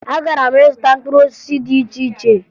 Agara m ịzụta mkpụrụ osisi dị iche iche